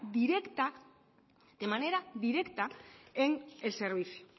directa de manera directa en el servicio